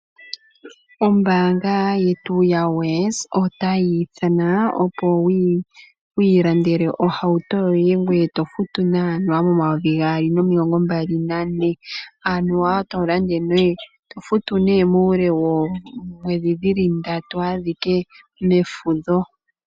Ombaanga yetu ya Wes otayi ithana opo wu ilandele ohauto yoye, ngoye toyi futu nee anuwa momayovi gaali nomilongo mbali nane. Anuwa to futu nee muule wooomwedhi dhili ndatu adhike mefudho.